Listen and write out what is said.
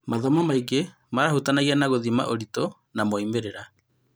Mathomo Maingi marahutanagia na gũthima ũritũ na moimĩrĩra.